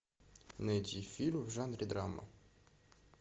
найти фильм в жанре драма